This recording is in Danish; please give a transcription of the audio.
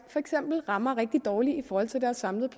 rammer rigtig dårligt i forhold til deres samlede